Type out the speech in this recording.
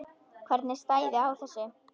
Hvernig stæði á þessu?